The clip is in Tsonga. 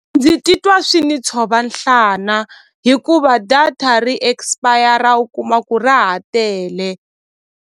Ndzi titwa swi ni tshova nhlana hikuva data ri expire u kuma ku ra ha tele.